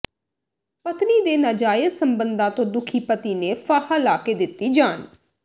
ਪਤਨੀ ਦੇ ਨਾਜਾਇਜ਼ ਸਬੰਧਾਂ ਤੋਂ ਦੁਖੀ ਪਤੀ ਨੇ ਫਾਹਾ ਲਾ ਕੇ ਦਿੱਤੀ ਜਾਨ